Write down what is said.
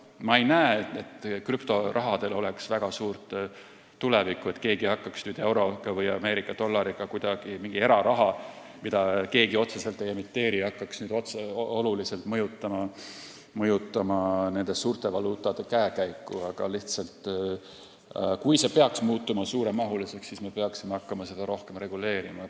Ma ei näe, et krüptorahal oleks väga suurt tulevikku või et mingi eraraha, mida keegi otseselt ei emiteeri, hakkaks nüüd kuidagi oluliselt mõjutama suurte valuutade, näiteks euro või Ameerika dollari käekäiku, aga lihtsalt, kui see peaks muutuma suuremahuliseks, siis me peaksime hakkama seda rohkem reguleerima.